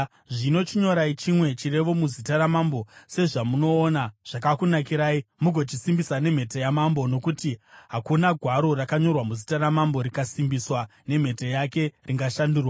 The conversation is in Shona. Zvino chinyorai chimwe chirevo muzita ramambo sezvamunoona zvakakunakirai mugochisimbisa nemhete yamambo, nokuti hakuna gwaro rakanyorwa muzita ramambo rikasimbiswa nemhete yake ringashandurwa.”